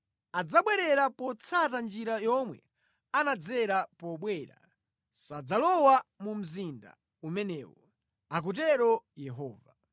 Adzabwerera potsata njira yomwe anadzera pobwera; sadzalowa mu mzinda umenewu,” akutero Yehova.